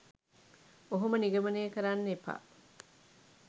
ඔහොම නිගමනය කරන්න එපා.